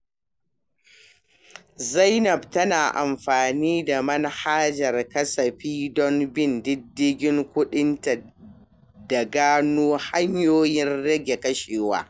Aisha tana amfani da manhajar kasafi don bin diddigin kudinta da gano hanyoyin rage kashewa.